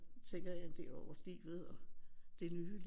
Tænker jeg en del over livet og det nye